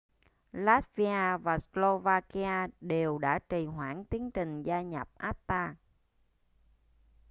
latvia và slovakia đều đã trì hoãn tiến trình gia nhập acta